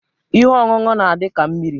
Ihe oñụñụ n'adị ka mmiri.